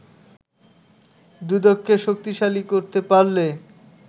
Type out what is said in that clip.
দুদককে শক্তিশালী করতে পারলে